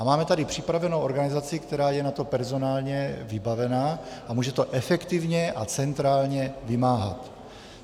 A máme tady připravenou organizaci, která je na to personálně vybavená a může to efektivně a centrálně vymáhat.